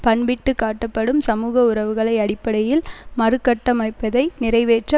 பண்பிட்டுக்காட்டப்படும் சமூக உறவுகளை அடிப்படையில் மறுகட்டமைப்பதை நிறைவேற்ற